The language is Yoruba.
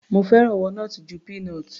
Mo fẹ́ràn walnut ju peanut.